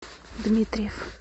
дмитриев